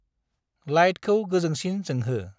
लाइटखौ गोजोंसिन जोंहो।